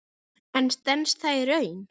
En stenst það í raun?